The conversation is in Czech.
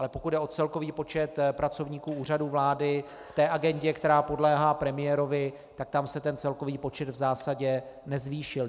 Ale pokud jde o celkový počet pracovníků Úřadu vlády v té agendě, která podléhá premiérovi, tak tam se ten celkový počet v zásadě nezvýšil.